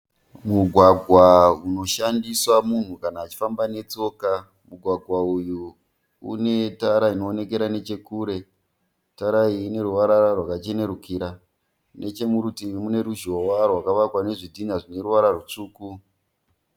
Mugwagwa unoshandiswa munhu kana achifamba netsoka. Mugwagwa uyu unetara inoonekera nechokure. Tara iyi ineruvara rwakachenerukira. Nechomurutivi mune ruzhowa rwakavakwa nezvitinha zvineruvara rutsvuku.